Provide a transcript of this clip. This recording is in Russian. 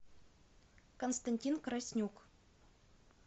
константин краснюк